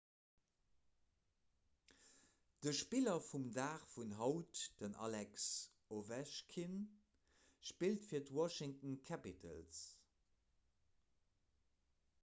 den spiller vum dag vun haut den alex ovechkin spillt fir d'washington capitals